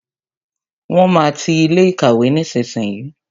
Wọn máa ti ilé ìkàwé nísinsìnyí